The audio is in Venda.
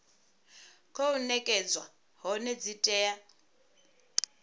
khou nekedzwa hone dzi tea